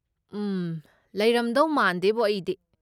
ꯎꯝ, ꯂꯩꯔꯝꯗꯧ ꯃꯥꯟꯗꯦꯕꯣ ꯑꯩꯗꯤ꯫